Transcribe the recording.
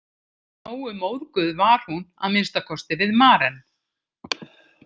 Nógu móðguð var hún að minnsta kosti við Maren.